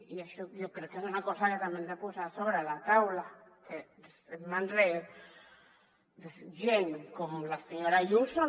i això jo crec que és una cosa que hem de posar sobre la taula que en mans de gent com la senyora ayuso